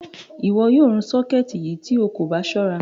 Iwọ́ yóò rún ṣọkẹtì yí tó ó kò bá ṣọ̀ra.